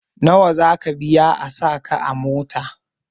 Nawa zaka biya a sa ka a mota?